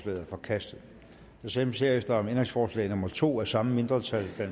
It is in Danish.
er forkastet der stemmes herefter om ændringsforslag nummer to af samme mindretal